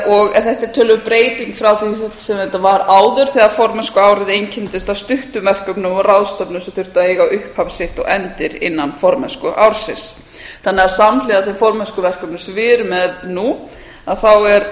og þetta er töluverð breyting frá því sem þetta var áður þegar formennskuárið einkenndist af stuttum verkefnum og ráðstefnum sem þurfti að eiga upphaf sitt og endi innan formennskuársins þannig að samhliða þeim formennskuverkefnum sem við erum með nú er